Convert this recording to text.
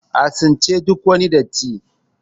a tsince duk wani datti!